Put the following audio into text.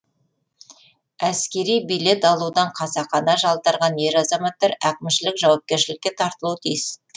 әскери билет алудан қасақана жалтарған ер азаматтар әкімшілік жауапкершілікке тартылуы тиіс